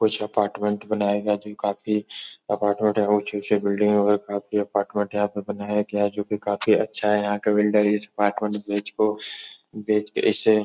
कुछ अपार्टमेंट बनाये गये हैं जो काफी अपार्टमेंट यहाँ ऊंची-ऊंची बिलडिंग है और काफी अपार्टमेंट यहाँ पे बनाये गया हैं जो कि काफी अच्छा है। यहां का बिल्डर इस अपार्टमेंट को बेच को बेच के इसे --